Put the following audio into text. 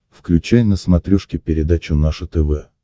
включай на смотрешке передачу наше тв